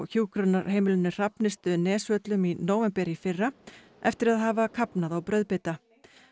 hjúkrunarheimilinu Hrafnistu Nesvöllum í nóvember í fyrra eftir að hafa kafnað á brauðbita